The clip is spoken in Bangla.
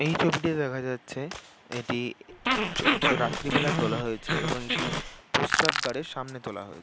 এই ছবিতে দেখা যাচ্ছে এটি জ রাত্রিবেলা তোলা হয়েছে এবং এটি প্রসাবগার এর সামনে তোলা হয়েছে।